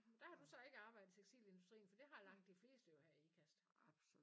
Men der har du så ikke arbejdet i tekstilindustrien? For det har langt de fleste jo her i Ikast